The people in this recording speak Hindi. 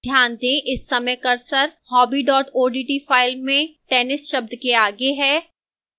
ध्यान दें कि इस समय cursor hobby odt file में tennis शब्द के आगे है